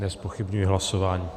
Nezpochybňuji hlasování.